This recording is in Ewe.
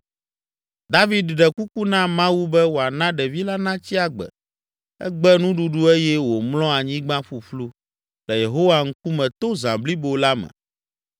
David ɖe kuku na Mawu be wòana ɖevi la natsi agbe, egbe nuɖuɖu eye wòmlɔ anyigba ƒuƒlu le Yehowa ŋkume to zã blibo la me.